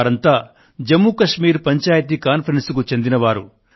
వారంతా జమ్ము కశ్మీర్ పంచాయత్ కాన్ఫరెన్స్ కు చెందినవారు